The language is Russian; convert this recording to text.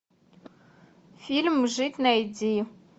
фильм жить найди